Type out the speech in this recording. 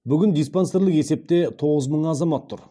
бүгінде диспансерлік есепте тоғыз мың азамат тұр